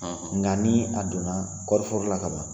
Nka ni a donna kɔɔri foro la kaban